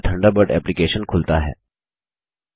Mozilla Thunderbird application खुलता है